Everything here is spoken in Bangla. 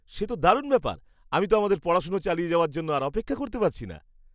সে তো দারুণ ব্যাপার! আমি তো আমাদের পড়াশোনা চালিয়ে যাওয়ার জন্য আর অপেক্ষা করতে পারছি না।